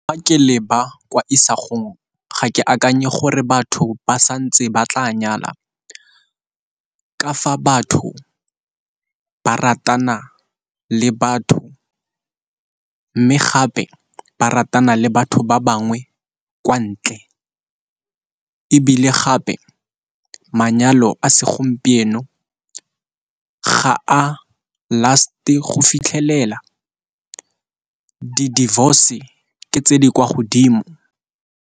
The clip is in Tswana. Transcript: Fa ke le ba kwa isagong ga ke akanye gore batho ba santse ba tla nyala ka fa batho ba ratana le batho, mme gape ba ratana le batho ba bangwe kwa ntle. Ebile gape manyalo a segompieno ga a last-e go fitlhelela, di-divorce ke tse di kwa godimo.